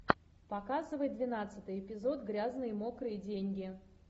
показывай двенадцатый эпизод грязные мокрые деньги